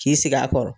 K'i sigi a kɔrɔ